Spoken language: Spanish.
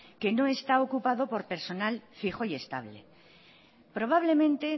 que no está ocupado por personal fijo y estable probablemente